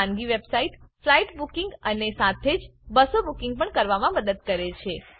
ખાનગી website flight booking અને સાથે જ બસો બુકિંગ કરવામાં પણ મદદ કરે છે